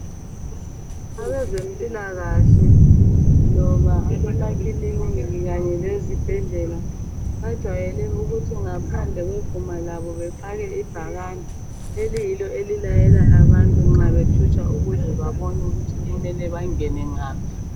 Abezempilakahle loba abemakiliniki kanye lezibhedlela bajwayele ukuthi ngaphandle kweguma labo befake ibhakane eliyilo elilayela abantu nxa bethutsha ukuze babone ukuthi kumele bangene ngaphi.